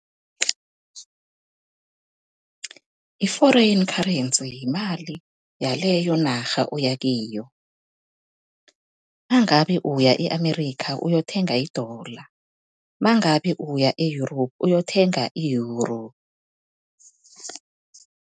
I-foreign currency yimali yaleyonarha oya kiyo nangabe uya e-Amerika uyokuthenga i-dollar, mangabe uya e-Europe uyothenga i-Euro.